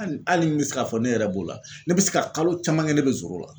hali n bɛ se k'a fɔ ne yɛrɛ b'o la ne bɛ se ka kalo caman kɛ ne bɛ zoro la.